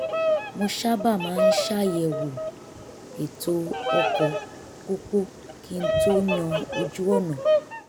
mo sábà máa ń ṣàyẹ̀wò ètò ọkọ̀ pópó kí n tó yàn ojú-ọ̀nà